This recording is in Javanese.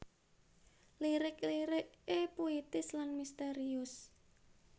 Lirik lirik é puitis lan misterius